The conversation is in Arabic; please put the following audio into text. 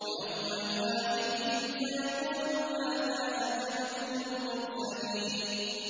وَيَوْمَ يُنَادِيهِمْ فَيَقُولُ مَاذَا أَجَبْتُمُ الْمُرْسَلِينَ